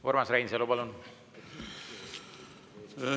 Urmas Reinsalu, palun!